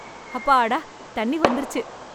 அப்பாடா தண்ணி வந்துருச்சு